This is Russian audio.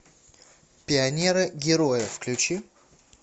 пионеры герои включи